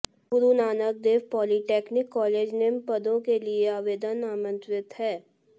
गुरु Nanak Dev polytechnic college निम्न पदों के लिए आवेदन आमंत्रित हैं